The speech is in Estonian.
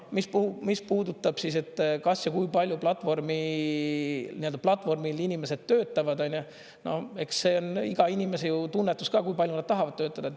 Mis puudutab, kas ja kui palju platvormil inimesed töötavad, on ju, no eks see on iga inimese tunnetus ka, kui palju nad tahavad töötada.